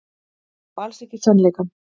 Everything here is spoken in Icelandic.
Og alls ekki sannleikann.